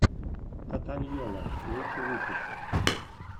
татаньйолла лучший выпуск